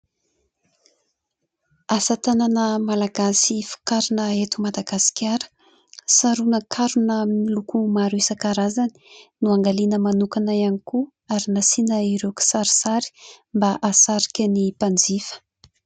Asa tanana malagasy vokarina eto Madagasikara . Sarona ankarona amin'ny loko maro isankarazany ; noangaliana manokana ihany koa ary nasiana ireo kisarisary mba hasarika ireo mpanjifa .